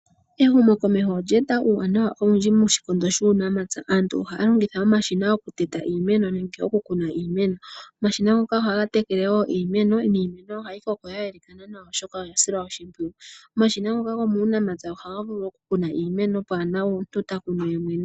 Ehumokomeho olye eta uuwanawa owundji moshikondo shuunamapya. Aantu ohaya longitha omashina okuteta iimeno, nenge okukuna iimeno. Omashina ngoka ohaga tekele wo iimeno, niimeno ohayi koko ya yelekathana nawa, oshoka oya silwa oshimpwiyu. Omashina ngoka gomuunamapya ohaga vulu okutekela iimeno, pwaa na omuntu ta kunu yemwene.